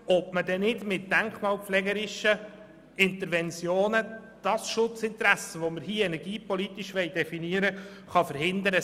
Diese soll prüfen, ob man mit denkmalpflegerischen Interventionen das Schutzinteresse, welches wir hier energiepolitisch definieren wollen, verhindern kann.